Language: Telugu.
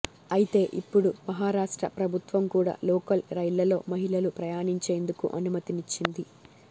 అయితే ఇప్పుడు మహారాష్ట్ర ప్రభుత్వం కూడా లోకల్ రైళ్లలో మహిళలు ప్రయాణించేందుకు అనుమతినిచ్చింది